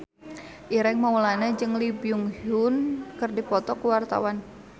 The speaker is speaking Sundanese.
Ireng Maulana jeung Lee Byung Hun keur dipoto ku wartawan